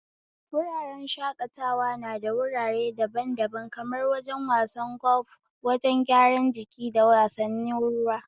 Wuraren shakatawa nada wurare daban-daban kamar wajen wasan golf, wajen gyaran jiki, da wasannin ruwa.